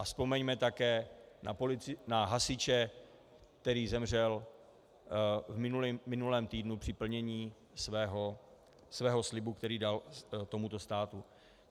A vzpomeňme také na hasiče, který zemřel v minulém týdnu při plnění svého slibu, který dal tomuto státu.